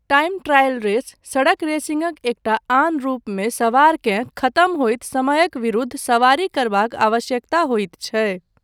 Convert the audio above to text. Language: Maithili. टाइम ट्रायल रेस, सड़क रेसिङ्गक एकटा आन रूपमे सवारकेँ खतम होयत समयक विरूद्ध सवारी करबाक आवश्यकता होइत छै।